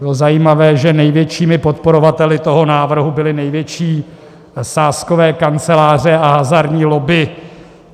Bylo zajímavé, že největšími podporovateli toho návrhu byly největší sázkové kanceláře a hazardní lobby.